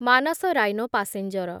Manas rhino passenger